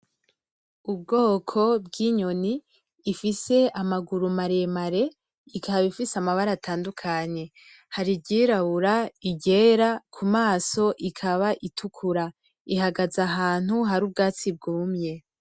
Ubwoko bwinyoni ifise amaguru maremare ikaba ifise amabara atandukanye hari iryirabura, iryera, kumaso ikaba itukura ihagaze ahantu hari ubwatsi bwumye.